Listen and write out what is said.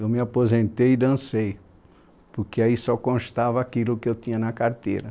Eu me aposentei e dancei, porque aí só constava aquilo que eu tinha na carteira.